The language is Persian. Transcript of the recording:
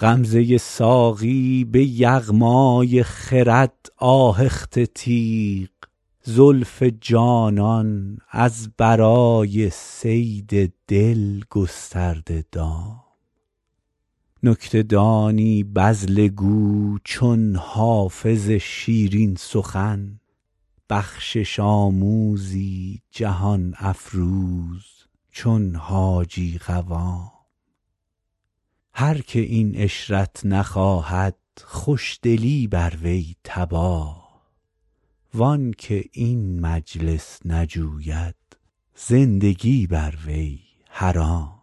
غمزه ساقی به یغمای خرد آهخته تیغ زلف جانان از برای صید دل گسترده دام نکته دانی بذله گو چون حافظ شیرین سخن بخشش آموزی جهان افروز چون حاجی قوام هر که این عشرت نخواهد خوش دلی بر وی تباه وان که این مجلس نجوید زندگی بر وی حرام